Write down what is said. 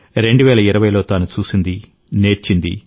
2020 లో తాను చూసింది నేర్చింది